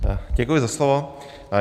Děkuji za slovo.